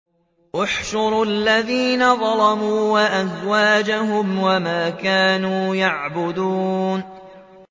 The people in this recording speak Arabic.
۞ احْشُرُوا الَّذِينَ ظَلَمُوا وَأَزْوَاجَهُمْ وَمَا كَانُوا يَعْبُدُونَ